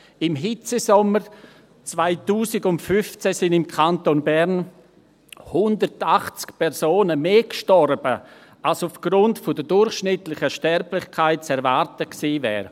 – Im Hitzesommer 2015 sind im Kanton Bern 180 Personen mehr gestorben als aufgrund der durchschnittlichen Sterblichkeit zu erwarten gewesen wäre.